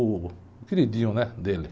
O queridinho, né, dele.